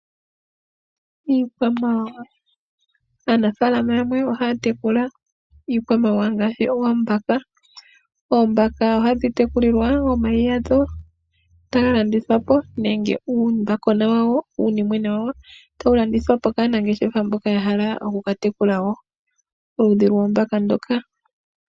Iikwamawawa, aanafalama yamwe ohaya tekula iikwamawawa ngaashi oombaka, oombaka ohadhi tekulilwa omayi gadho etaga landithwa po nenge uumbakwena nenge uunimwena wawo tawu landithwa po kaanangeshefa mboka ya hala oku ka tekula wo oludhi lwoombaka ndhoka.